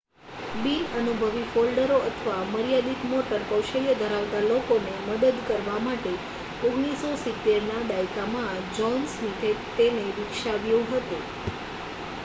બિનઅનુભવી ફોલ્ડરો અથવા મર્યાદિત મોટર કૌશલ્ય ધરાવતા લોકોને મદદ કરવા માટે 1970ના દાયકામાં જ્હોન સ્મિથે તેને વિકસાવ્યું હતું